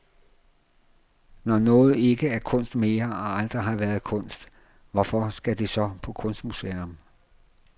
Når noget ikke er kunst mere, og aldrig har været kunst, hvorfor skal det så på kunstmuseum?